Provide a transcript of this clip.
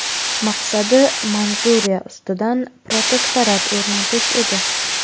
Maqsadi Manjuriya ustidan protektorat o‘rnatish edi.